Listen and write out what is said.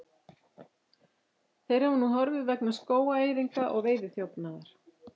Þeir hafa nú horfið vegna skógaeyðingar og veiðiþjófnaðar.